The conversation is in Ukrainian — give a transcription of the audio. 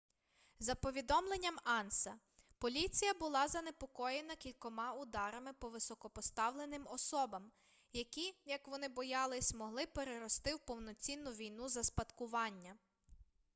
за повідомленням анса поліція була занепокоєна кількома ударами по високопоставленим особам які як вони боялись могли перерости у повноцінну війну за спадкування